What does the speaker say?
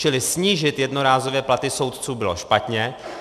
Čili snížit jednorázově platy soudců bylo špatně.